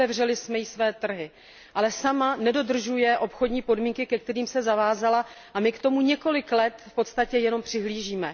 Otevřeli jsme jí své trhy, ale sama nedodržuje obchodní podmínky, ke kterým se zavázala, a my k tomu několik let v podstatě jenom přihlížíme.